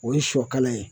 O ye sɔ kala ye